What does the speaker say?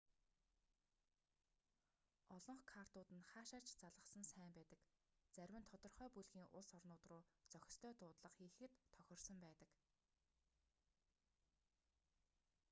олонх картууд нь хаашаа ч залгасан сайн байдаг зарим нь тодорхой бүлгийн улс орнууд руу зохистой дуудлага хийхэд тохирсон байдаг